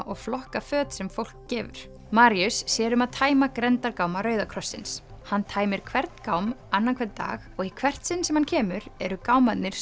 og flokka föt sem fólk gefur sér um að tæma grenndargáma Rauða krossins hann tæmir hvern gám annan hvern dag og í hvert sinn sem hann kemur eru gámarnir